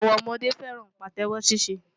Àwọn ọmọdé fẹ́ràn Pàtẹ́wọ́ ní ṣíṣe.